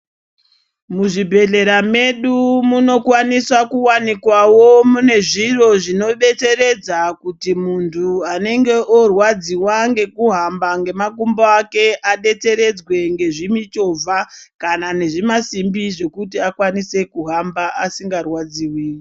Muzvibhedhlera medu munokwanisa kuonekwawo mune zvintu zvinobetseredza kuti muntu anenge orwadziwa ngekuhamba ngemakumbo ake adetseredzwe ngezvimuchovha kana ngezvimasimbi zvokuti akwanise kuhamba asingarwadziwi.